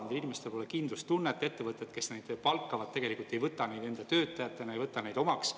Neil inimestel pole kindlustunnet, ettevõtted, kes neid palkavad, tegelikult ei võta neid enda töötajatena, ei võta neid omaks.